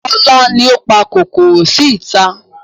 Kola ni ó pa kòkòrò sí ìta